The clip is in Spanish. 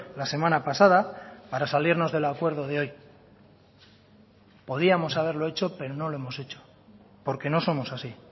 la semana pasada para salirnos del acuerdo de hoy podíamos haberlo hecho pero no lo hemos hecho porque no somos así